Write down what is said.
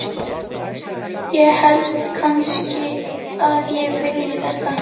ég held kannski að ég vilji þetta.